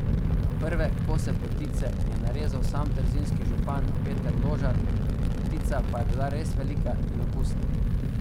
Prve kose potice je narezal sam trzinski župan Peter Ložar, potica pa je bila res velika in okusna.